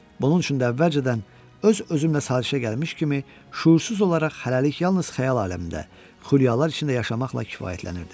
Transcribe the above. Bunun üçün də əvvəlcədən öz-özümlə sazişə gəlmiş kimi şüursuz olaraq hələlik yalnız xəyal aləmində, xülyalar içində yaşamaqla kifayətlənirdim.